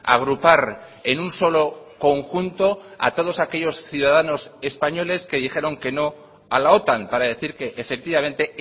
agrupar en un solo conjunto a todos aquellos ciudadanos españoles que dijeron que no a la otan para decir que efectivamente